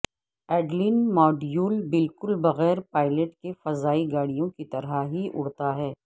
Adeline module بالکل بغیر pilot کے فضائی گاڑیوں کی طرح ہی اڑتا ہے